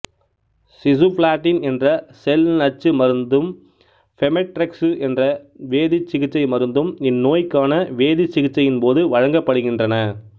cisplatin என்ற செல்நச்சு மருந்தும் பெமெட்ரெக்சு என்ற வேதிச்சிகிச்சை மருந்தும் இந்நோய்க்கான வேதிச்சிகிச்சையின்போது வழங்கப்படுகின்றன